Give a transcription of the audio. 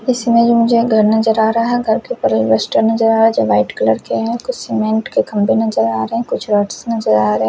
इसमें मुझे घर नजर आ रहा है घर के इन्वेस्टर नजर आ रहे है जो वाईट कलर के है कुछ सीमेंट के खम्बे नजर आ रहे है कुछ रोड्स नजर आ रहे है।